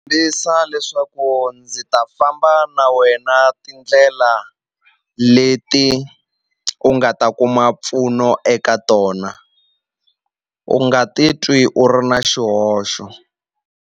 leswaku ndzi ta famba na wena tindlela leti u nga ta kuma mpfuno eka tona u nga ti twi u ri na xihoxo.